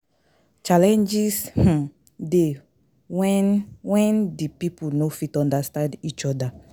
Challenges um de when di pipo no fit understand each other